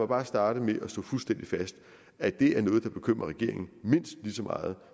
bare starte med at slå fuldstændig fast at det er noget der bekymrer regeringen mindst ligesom meget